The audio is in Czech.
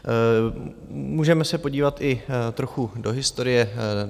Můžeme se podívat i trochu do historie.